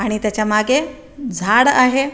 आणि त्याच्या मागे झाड आहे.